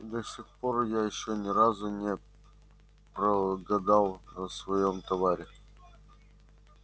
и до сих пор я ещё ни разу не прогадал на своём товаре